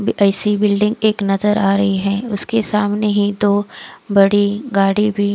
अब AC building एक नजर आ रही है उसके सामने ही तो बड़ी गाडी भी--